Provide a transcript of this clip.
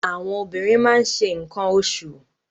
Àwọn obìnrin ma ń se nǹkan oṣù.